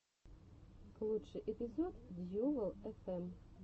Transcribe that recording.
лучший эпизод дьювал эфэм